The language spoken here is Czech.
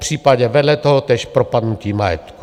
Popřípadě vedle toho též propadnutí majetku.